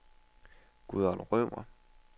Gudrun Rømer